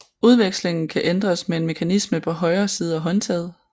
Udvekslingen kan ændres med en mekanisme på højre side af håndtaget